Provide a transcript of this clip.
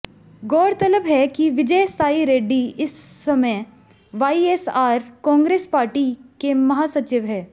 गौरतलब है कि विजय साई रेड्डी इस समय वाईएसआर कांग्रेस पार्टी के महासचिव है